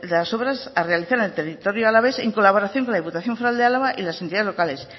el saneamiento de la obras a realizar en el territorio alavés en colaboración con la diputación foral de álava y las entidades locales